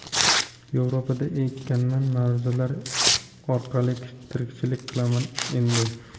Yevropada ekanman, ma’ruzalar orqali tirikchilik qilaman endi.